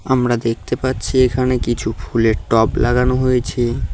আমরা দেখতে পাচ্ছি এখানে কিছু ফুলের টব লাগানো হয়েছে।